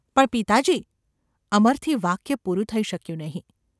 ‘પણ, પિતાજી !.’ અમરથી વાક્ય પૂરું થઈ શક્યું નહિ.